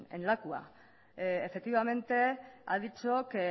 en lakua efectivamente ha dicho que